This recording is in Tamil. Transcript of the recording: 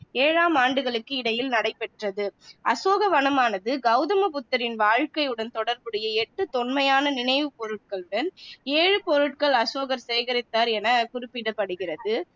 ஏழாம் ஆண்டுகளுக்கு இடையில் நடைபெற்றது அசோகவனமானது கௌதம புத்தரின் வாழ்க்கையுடன் தொடர்புடைய எட்டு தொன்மையான நினைவுப் பொருட்களுடன் ஏழு பொருட்கள் அசோகர் சேகரித்தார் என குறிப்பிடப்படுகிறது